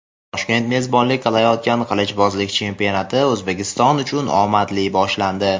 Toshkent mezbonlik qilayotgan qilichbozlik chempionati O‘zbekiston uchun omadli boshlandi;.